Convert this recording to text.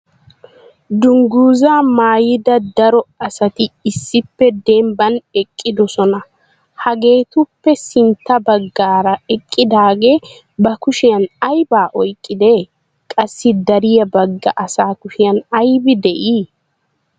Dungguzza maayida daro asati issippe dembban eqqidoosona. Hageetuppe sintta baggaara eqqidaage ba kushiyan aybba oyqqide? Qassi dariya bagga asa kushiyan aybbi de'ii?